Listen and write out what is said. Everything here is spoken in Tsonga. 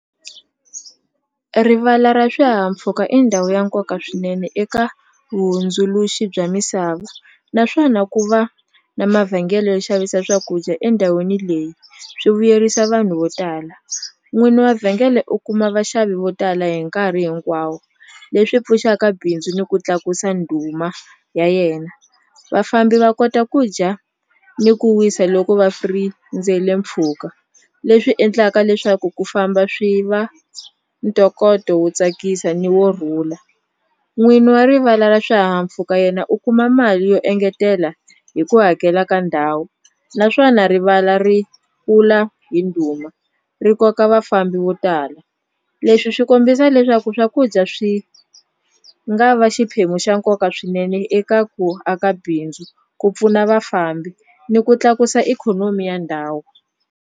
Rivala ra swihahampfhuka i ndhawu ya nkoka swinene eka vuhundzuluxi bya misava naswona ku va na mavhengele yo xavisa swakudya endhawini leyi swi vuyerisa vanhu vo tala n'wini wa vhengele u kuma vaxavi vo tala hi nkarhi hinkwawo leswi pfuxaka bindzu ni ku tlakusa ndhuma ya yena vafambi va kota ku dya ni ku wisa loko va mpfhuka leswi endlaka leswaku ku famba swi va ntokoto wo tsakisa ni wo rhula n'winyi wa rivala ra swihahampfuka yena u kuma mali yo engetela hi ku hakela ka ndhawu naswona rivala ri kula hi ndhuma ri koka vafambi vo tala leswi swi kombisa leswaku swakudya swi nga va xiphemu xa nkoka swinene eka ku aka bindzu ku pfuna vafambi ni ku tlakusa ikhonomi ya ndhawu.